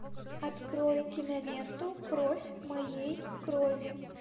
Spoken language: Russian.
открой киноленту кровь моей крови